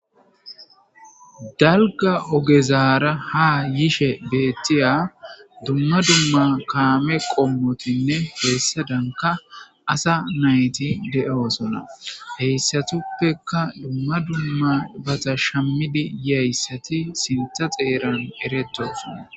dalga ogezaara ha yishe beettiya dumma dumma kaame qommotinne heessadanka asa nayti de7o sona heyssatuppeka dumma dumma bata shammidi yiyayssati sintha xeeran betosona